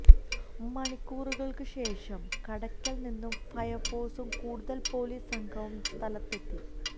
മണിക്കൂറുകൾക്ക് ശേഷം കടക്കൽ നിന്നു ഫയർഫോഴ്സും കൂടുതൽ പൊലീസ് സംഘവും സ്ഥലത്തെത്തി